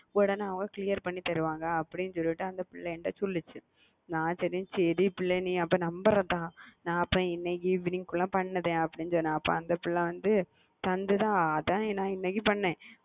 கேளுங்க அவங்க உங்களுக்கு clear பின்னி தருவாங்க அப்டினு அந்த புள்ள சொல்லுச்சி சரி புள்ளஅப்பா அந்த number evening பண்றனு சொன்ன அத இண்ணகி பண்ண